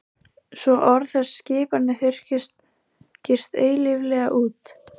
Svo orð þess og skipanir þurrkist eilíflega út.